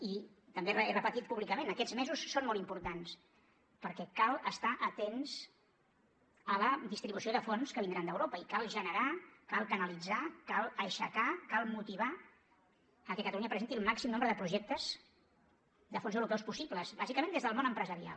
i també ho he repetit públicament aquests mesos són molt importants perquè cal estar atents a la distribució de fons que vindran d’europa i cal generar cal canalitzar cal aixecar cal motivar a que catalunya presenti el màxim nombre de projectes de fons europeus possibles bàsicament des del món empresarial